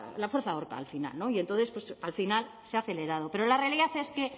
la fuerza ahorca al final y entonces pues al final se ha acelerado pero la realidad es que